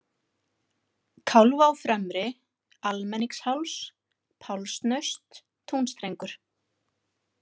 Kálfá fremri, Almenningsháls, Pálsnaust, Túnstrengur